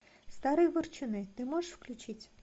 старые ворчуны ты можешь включить